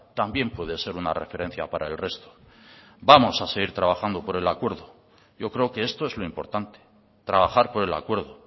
también puede ser una referencia para el resto vamos a seguir trabajando por el acuerdo yo creo que esto es lo importante trabajar por el acuerdo